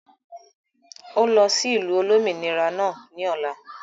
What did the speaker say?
ó lọ sí ìlú Olómìnira náà ni ọ̀la